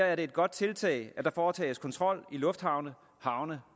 er det et godt tiltag at der foretages kontrol i lufthavne havne